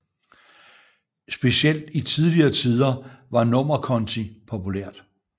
Specielt i tidligere tider var nummerkonti populært